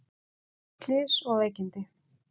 Bæði slys og veikindi